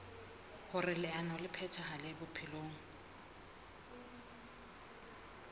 hoer leano le phethahale bophelong